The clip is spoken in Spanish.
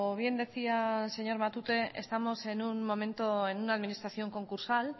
bien decía el señor matute estamos en un momento en una administración concursal